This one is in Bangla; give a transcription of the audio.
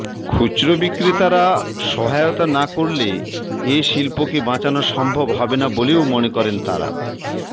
খুচরা বিক্রেতারা সহায়তা না করলে এ শিল্পকে বাঁচানো সম্ভব হবে না বলেও মনে করেন তারা